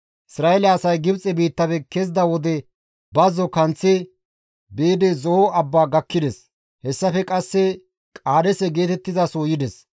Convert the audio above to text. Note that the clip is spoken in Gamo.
Isra7eele asay Gibxe biittafe kezida wode bazzora kanththi biidi Zo7o abba gakkides; hessafe qasse Qaadeese geetettizaso yides.